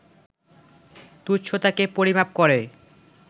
তুচ্ছতাকে পরিমাপ করে